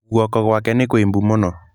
Guoko gwake nĩ kũimbu mũno.